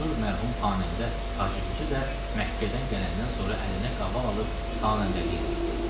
Məşhur mərhum xanəndə Hacı Hüsü də Məkkədən gələndən sonra əlinə qaval alıb xanəndəlik eləyirdi.